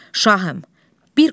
Şahım, bir qoca var.